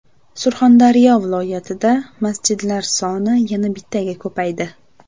Surxondaryo viloyatida masjidlar soni yana bittaga ko‘paydi.